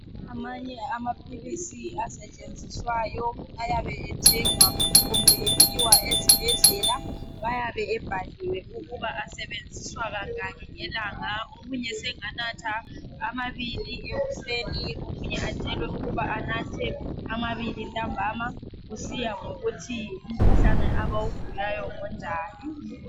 Amanye amaphilisi asetshenziswayo ayabe ethengwa kumbe ephiwa ezibhedlela ayabe ebhaliwe ukuba asebenziswa kangaki ngelanga omunye senganatha amabili ekuseni omunye atshelwe ukuba anathe amabili ntambama kusiya ngokuthi umkhuhlane abawugulayo ngonjani.